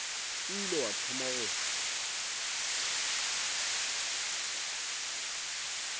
o ile wa thoma go